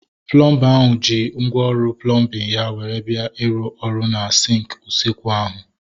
Plọmba ahụ ji ngwá ọrụ plọmbin ya were bịa iru ọrụ na sinki usekwu ahu